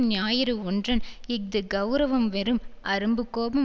ஞாயிறு ஒற்றன் இஃது கெளரவம் வெறும் அரும்பு கோபம்